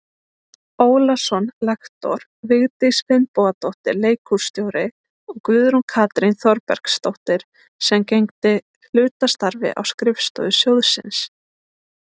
Ólason lektor, Vigdís Finnbogadóttir leikhússtjóri og Guðrún Katrín Þorbergsdóttir sem gegndi hlutastarfi á skrifstofu sjóðsins.